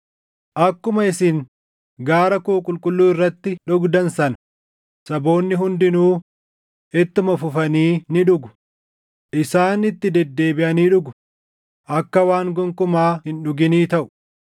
Akkuma isin gaara koo qulqulluu irratti dhugdan sana, saboonni hundinuu ittuma fufanii ni dhugu; isaan itti deddeebiʼanii dhugu; akka waan gonkumaa hin dhuginii taʼu.